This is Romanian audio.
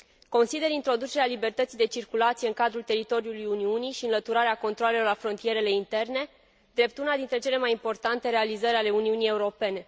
Consider introducerea libertății de circulație în cadrul teritoriului Uniunii și înlăturarea controalelor la frontierele interne, drept una dintre cele mai importante realizări ale Uniunii Europene.